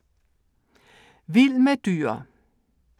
Vild med dyr